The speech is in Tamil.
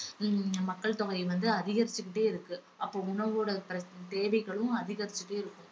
ஹம் மக்கள் தொகை வந்து அதிகரிச்சுக்கிட்டே இருக்கு அப்போ உணவோட பிற~ தேவைகளும் அதிகரிச்சுக்கிட்டே இருக்கும்.